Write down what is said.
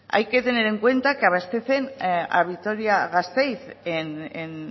hay que tener en cuenta que abastecen a vitoria a gasteiz en